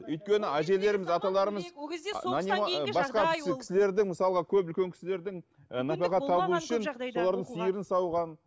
өйткені әжелеріміз аталарымыз ол кезде соғыстан кейінгі жағдай ол кісілердің мысалға көп үлкен кісілердің солардың сиырын сауған